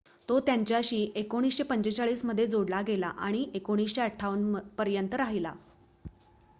तो त्यांच्याशी 1945 मध्ये जोडला गेला आणि 1958 पर्यंत राहिला